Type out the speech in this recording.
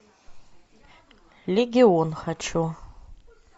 легион хочу